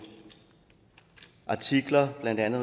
artikler i blandt andet